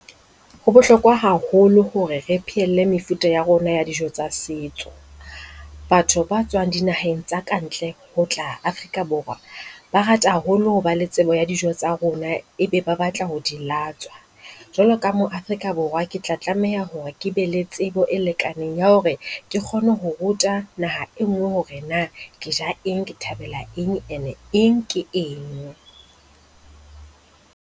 Ho bohlokwa haholo hore re pheelle mefuta ya rona ya dijo tsa setso, batho ba tswang dinaheng tsa kantle ho tla Afrika Borwa ba rata haholo ho ba le tsebo ya dijo tsa rona. Ebe ba batla ho di latswa, jwalo ka mo Afrika Borwa Ke tla tlameha hore ke be le tsebo e lekaneng ya hore ke kgone ho ruta naha e nngwe hore na ke ja eng, ke thabela eng and-e eng ke eng.